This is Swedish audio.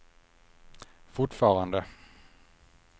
fortfarande